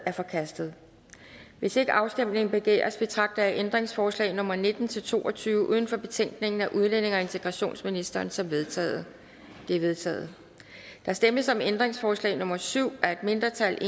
er forkastet hvis ikke afstemning begæres betragter jeg ændringsforslag nummer nitten til to og tyve uden for betænkningen af udlændinge og integrationsministeren som vedtaget de er vedtaget der stemmes om ændringsforslag nummer syv af et mindretal